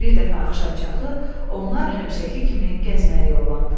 Bir dəfə axşamçağı onlar həmişəki kimi gəzməyə yollandılar.